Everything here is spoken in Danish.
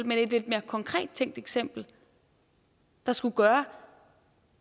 men et lidt mere konkret tænkt eksempel der skulle gøre